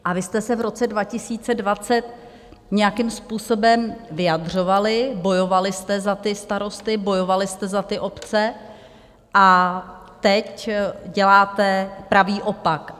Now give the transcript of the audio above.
A vy jste se v roce 2020 nějakým způsobem vyjadřovali, bojovali jste za ty starosty, bojovali jste za ty obce, a teď děláte pravý opak!